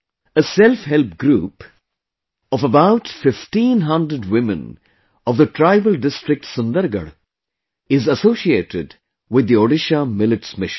A Self Help Group of about 1500 women of the tribal district Sundergarh is associated with the Odisha Millets Mission